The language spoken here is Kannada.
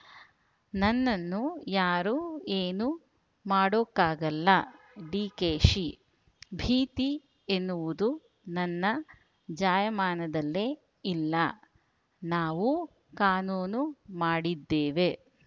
ನನ್ನನ್ನು ಯಾರೂ ಏನೂ ಮಾಡೋಕ್ಕಾಗಲ್ಲ ಡಿಕೆಶಿ ಭೀತಿ ಎನ್ನುವುದು ನನ್ನ ಜಾಯಮಾನದಲ್ಲೇ ಇಲ್ಲ ನಾವೂ ಕಾನೂನು ಮಾಡಿದ್ದೇವೆ